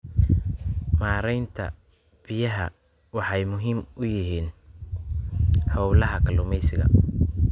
Maareynta biyuhu waxay muhiim u yihiin hawlaha kalluumaysiga.